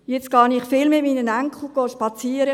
Jetzt gehe ich viel mit meinen Enkeln spazieren;